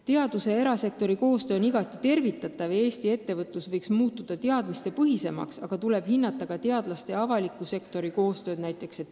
Teaduse ja erasektori koostöö on igati tervitatav ja Eesti ettevõtlus võiks muutuda teadmistepõhisemaks, aga tuleb hinnata ka teadlaste ja avaliku sektori koostööd.